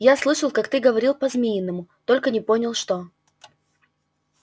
я слышал как ты говорил по-змеиному только не понял что